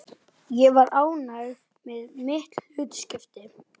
Er mikill áhugi fyrir kvennaknattspyrnu á Sauðárkróki?